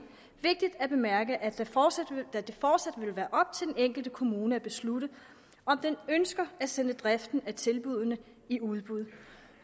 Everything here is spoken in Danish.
vigtigt at bemærke at det fortsat vil være op til den enkelte kommune at beslutte om den ønsker at sende driften af tilbuddene i udbud